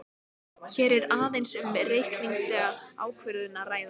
Hér er aðeins um reikningslega ákvörðun að ræða.